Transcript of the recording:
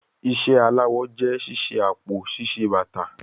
Iṣẹ alawọ jẹ ṣiṣe apo, ṣiṣe bata